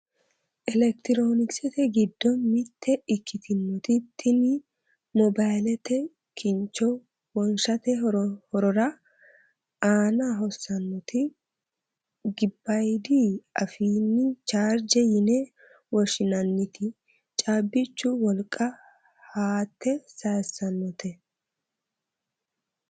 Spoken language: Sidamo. elektiroonikisete giddo mitte ikkitinoti tini mobayiilete kincho wonshshate horora aana hossannoti gebbayiidi afiini charger ine woshinanniti cabbichu wolqa haate sayissannote.